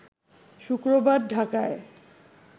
শুক্রবার ঢাকায়